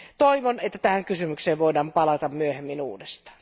Toivon, että tähän kysymykseen voidaan palata myöhemmin uudestaan.